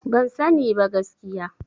Ban sani ba gaskiya.